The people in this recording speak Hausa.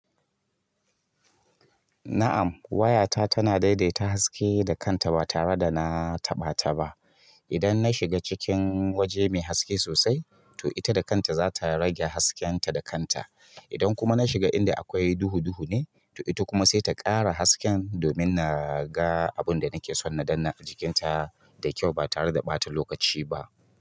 Na'am, wayata tana daidaita haske da kanta ba tare da na taɓa ta ba. Idan na shiga cikin waje mai haske sosai, to ita da kanta zata rage haskenta da kanta. Idan kuma na shiga inda akwai duhu-duhu ne, to ita kuma sai ta ƙara haske domin naga abunda nake son na danna a jikinta da kyau ba tare da ɓata lokaci ba.